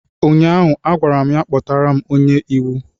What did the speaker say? ụnyaahụ m gwara ya, kpọtara m onye ọka iwu!